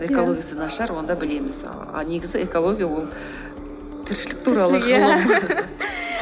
экологиясы нашар онда білеміз ал негізі экология ол тіршілік туралы ғылым